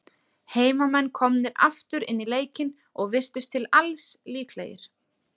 Heimamenn komnir aftur inn í leikinn, og virtust til alls líklegir.